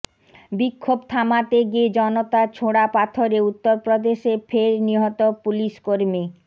বিক্ষোভ থামাতে গিয়ে জনতার ছোড়া পাথরে উত্তরপ্রদেশে ফের নিহত পুলিশকর্মী